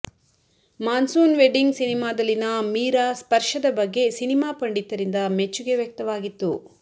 monsoon Wedding ಸಿನಿಮಾದಲ್ಲಿನ ಮೀರಾ ಸ್ಪರ್ಶದ ಬಗ್ಗೆ ಸಿನಿಮಾ ಪಂಡಿತರಿಂದ ಮೆಚ್ಚುಗೆ ವ್ಯಕ್ತವಾಗಿತ್ತು